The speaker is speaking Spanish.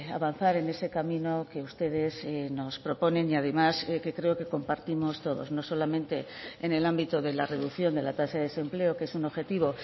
avanzar en ese camino que ustedes nos proponen y además que creo que compartimos todos no solamente en el ámbito de la reducción de la tasa de desempleo que es un objetivo